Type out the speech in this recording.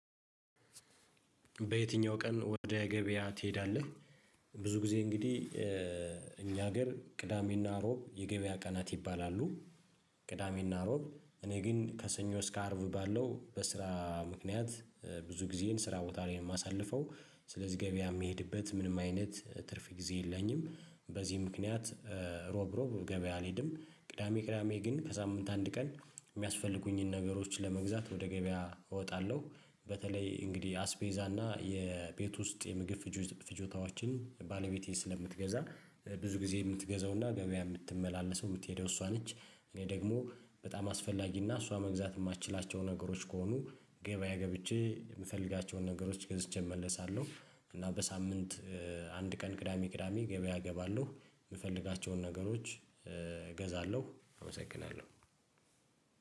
በየትኛው ቀን ወደ ገበያ ትሄዳለህ ብዙ ጊዜ እንግዲህ እኛ ሀገር ቅዳሜና ሮብ የገበያ ቀናት ይባላሉ ቅዳሜና ሮብ እኔ ግን ከሰኞ እስከ አርብ ባለው በስራ ምክንያት ብዙ ጊዜን ስራ ቦታ ላይ ነው ማሳልፈው ስለዚህ ገበያ ምሄድበት ምንም አይነት ትርፍ ጊዜ የለኝም በዚህ ምክንያት ሮብ ሮብ ገበያ አልሄድም ቅዳሜ ቅዳሜ ግን ከሳምንት አንድ ቀን የሚያስፈልጉኝን ነገሮች ለመግዛት ወደ ገበያ እወጣለሁ በተለይ እንግዲህ አስቤዛና የቤት ውስጥ የምግብ ፍጆታ ፍጆታዎችን ባለቤቴ ስለምትገዛ ብዙ ጊዜ ምትገዛው እና ገበያ ምትመላለሰው ምትሄደው እሷ ነች እኔ ደግሞ በጣም አስፈላጊና እሷ መግዛት ማችላቸው ነገሮች ከሆኑ ገበያ ገብቼ ምፈልጋቸውን ነገሮች ገዝቼ እመለሳለሁ እና በሳምንት አንድ ቀን ቅዳሜ ቅዳሜ ገበያ እገባለሁ ምፈልጋቸውን ነገሮች ገዛለሁ አመሰግናለሁ።